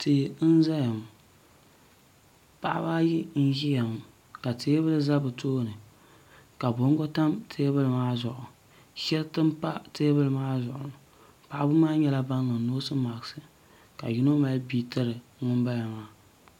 tia n ʒɛya ŋɔ paɣaba ayi n ʒiya ŋɔ ka teebuli ʒɛ bi tooni ka bongo tam teebuli maa zuɣu shɛriti n pa teebuli maa zuɣu paɣaba maa nyɛla bin niŋ noos mask ka yino mali bia tiri ŋunbala maa